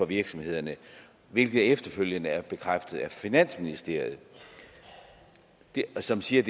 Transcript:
virksomhederne hvilket efterfølgende er bekræftet af finansministeriet som siger